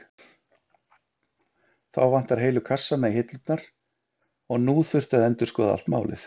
Þá vantaði heilu kassana í hillurnar og nú þurfti að endurskoða allt málið.